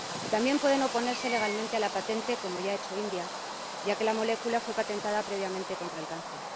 También pueden oponerse legalmente a la patente, como ya ha hecho la India, ya que la molécula fue patentada previamente contra el cáncer.